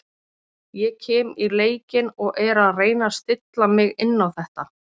Ég kem í leikinn og er að reyna að stilla mig inn á þetta.